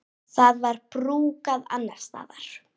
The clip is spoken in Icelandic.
Það var brúkað annars staðar.